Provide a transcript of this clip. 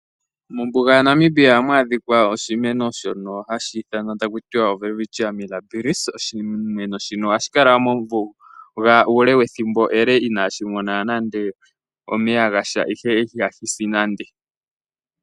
Mombuga yaNamibia ohamu adhikwa oshimeno shono haku tiwa o Welwitchia Mirabils. Oshimeno shino ohashi kala mombuga ethimbo ele inashi mona nande omeya gasha ihe ihashi si nande.